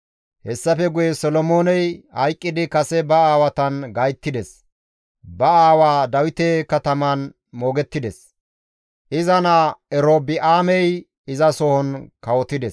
Hessafe guye Solomooney hayqqidi kase ba aawatan gayttides; ba aawaa Dawite kataman moogettides; iza naa Erobi7aamey izasohon kawotides.